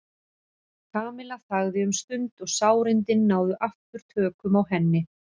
Kamilla þagði um stund og sárindin náðu aftur tökum á henni.